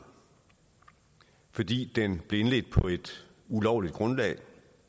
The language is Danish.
fordi den blev indledt på et ulovligt grundlag